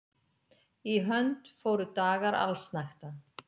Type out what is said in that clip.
Í hönd fóru dagar allsnægta.